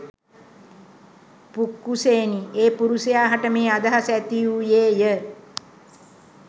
පුක්කුසයෙනි ඒ පුරුෂයා හට මේ අදහස ඇතිවූයේ ය.